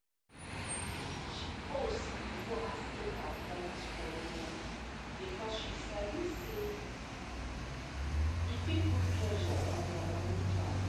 she pause before asking her friends for loan because she sabi say e fit put pressure on their money plan